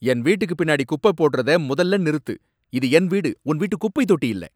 என் வீட்டுக்கு பின்னாடி குப்பை போடுறத மொதல்ல நிறுத்து. இது என் வீடு, உன் வீட்டு குப்பைத் தொட்டி இல்ல.